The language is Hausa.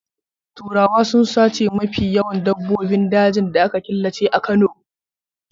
Turawa sun sace mafi yawan dabbobin dajin da aka killace a Kano.